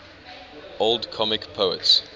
old comic poets